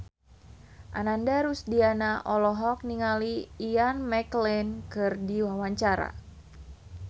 Ananda Rusdiana olohok ningali Ian McKellen keur diwawancara